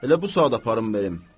elə bu saat aparım verim.